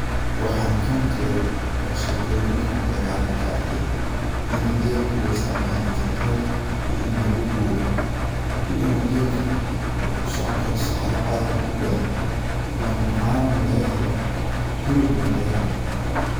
waxan kamaqley oo shekoyiin kamaqle qarna ka arkay ini gelku loo isticmaali jire rar iyo ini lugu guuro iyo inu gelka u kusoconi karo saxara aad udheer ona caana na laga helo hilib na laga helo